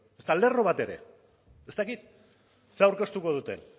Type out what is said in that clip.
ezta lerro bat ere ez dakit ze aurkeztuko duten